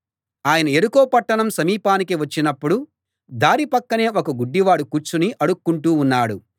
ఆయన యెరికో పట్టణం సమీపానికి వచ్చినప్పుడు దారి పక్కనే ఒక గుడ్డివాడు కూర్చుని అడుక్కుంటూ ఉన్నాడు